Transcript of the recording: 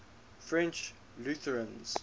french lutherans